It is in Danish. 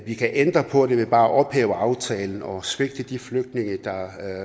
vi kan ændre på det ved bare at ophæve aftalen og svigte de flygtninge der